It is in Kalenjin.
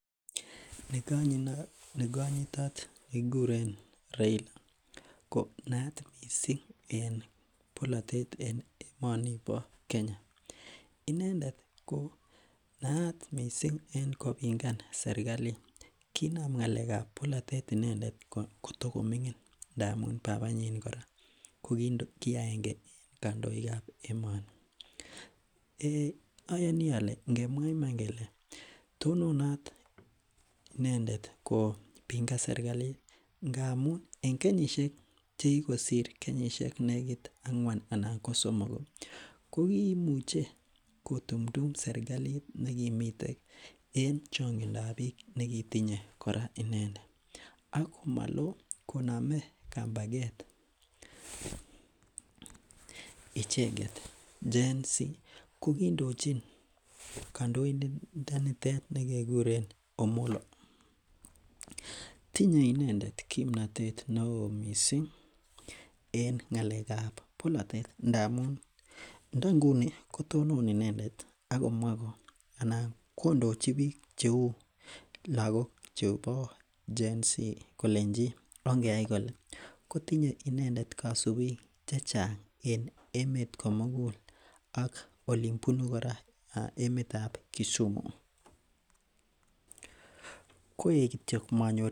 Nekonyitot nekikuren Raila ko naat missing en bolotet en emonibo Kenya, inendet ko naat kot missing en kopingan serkalit. Kinam inendet ng'alek ab bolotet inendet kotokoming'in ndamun babanyin kora ko ki agenge en kandoik ab emoni. Ayonii ole ngemwaa iman kele tononot inendet kopingan serkalit ngamun en kenyisiek chekikosir kenyisiek nekit ang'wan anan ko somok kokimuche kotumtum serkalit nekimiten en chongindab biik nekitinye kora inendet ak komoloo konome kambaket icheket Gen Z ko kindochin kandoindonitet nekekuren Omollo. Tinye inendet kimnotet neoo missing en ng'alek ab bolotet ndamun ndo nguni kotonon inendet akomwaa ko anan kondochi biik cheu lakok chebo Gen Z kolenji ongeyai kole kotinye inendet kosubiik chechang en emet komugul ak olin bunu kora emet ab Kisumu. Koik kityo manyor